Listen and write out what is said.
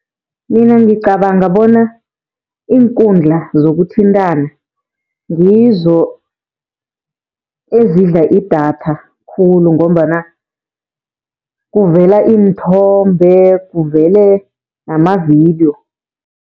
Mina ngicabanga bona iinkundla zokuthintana ngizo ezidla idatha khulu, ngombana kuvela iinthombe, kuvele namavidiyo.